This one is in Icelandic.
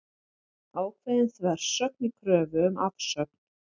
Ákveðin þversögn í kröfu um afsögn